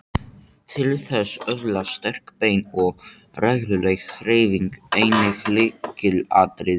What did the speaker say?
Til þess að öðlast sterk bein er regluleg hreyfing einnig lykilatriði.